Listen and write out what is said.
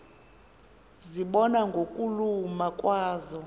zibonwa ngokuluma kwazo